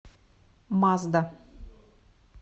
мазда